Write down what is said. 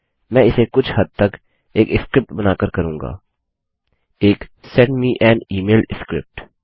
मैं इसे कुछ हद तक एक स्क्रिप्ट बनाकर करूँगा एक send me an email script